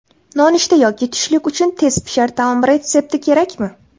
Nonushta yoki tushlik uchun tezpishar taom retsepti kerakmi?